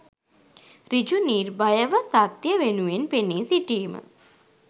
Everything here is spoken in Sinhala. සෘජු, නිර්භයව, සත්‍යය වෙනුවෙන් පෙනී සිටීම